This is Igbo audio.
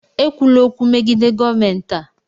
Ekwula okwu megide gọọmentị a!